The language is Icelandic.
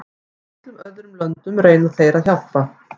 Í öllum öðrum löndum reyna þeir að hjálpa.